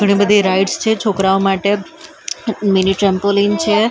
ઘણી બધી રાઇડ્સ છે છોકરાઓ માટે મીની ટ્રેમ્પોલીન છે.